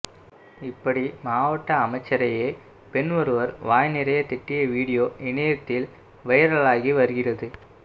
இப்படி மாவட்ட அமைச்சரையே பெண் ஒருவர் வாய் நிறைய திட்டிய வீடியோ இணையத்தில் வைரலாகி வருகிறது